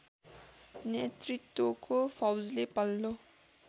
नेतृत्वको फौजले पल्लो